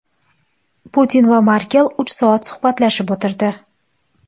Putin va Merkel uch soat suhbatlashib o‘tirdi.